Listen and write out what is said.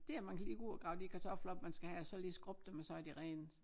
Det at man kan lige gå ud og grave de kartofler op man skal have og så lige skrubbe dem og så er de rene